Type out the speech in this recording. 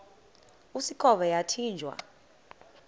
usikhova yathinjw a